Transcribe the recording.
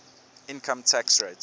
income tax rates